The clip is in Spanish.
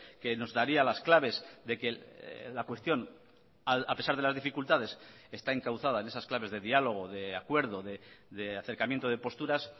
que nos daría las claves de que la cuestión a pesar de las dificultades está encauzada en esas claves de diálogo de acuerdo de acercamiento de posturas